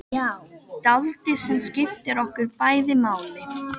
Dáldið sem skiptir okkur bæði máli.